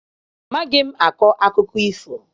Amaghị akọ akụkọ ifo.